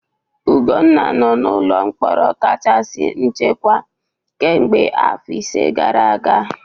Ugwunna nọ n'ụlọ mkpọrọ kachasị nchekwa kemgbe afọ ise gara aga.